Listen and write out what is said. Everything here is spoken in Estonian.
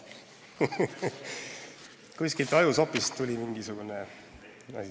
Kuskilt ajusopist tuli mingisugune asi.